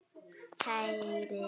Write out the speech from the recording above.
Kæri Doddi.